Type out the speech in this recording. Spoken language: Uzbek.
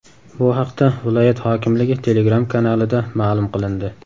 Bu haqda viloyat hokimligi Telegram kanalida ma’lum qilindi .